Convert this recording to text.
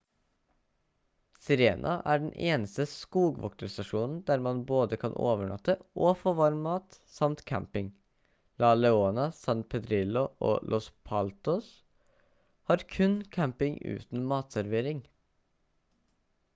sirena er den eneste skogvokterstasjonen der man både kan overnatte og få varm mat samt camping la leona san pedrillo og los patos har kun camping uten matservering